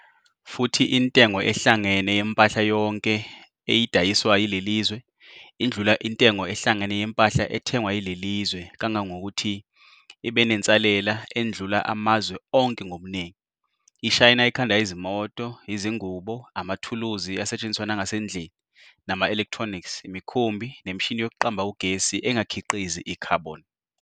Futhi intengo ehlangene yempahla yonke eyidayiswa yilelizwe indlula intengo ehlangene yempahla ethengwa yilelizwe kangangokuthi ibenensalela endlula amazwe onke ngobuningi. IShayina ikhanda izimoto, izingubo, amathuluzi asetshenziswa nangasendlini, nama-electronics, imikhumbi, nemishini yokuqamba ugesi engakhiqizi i-"Carbon".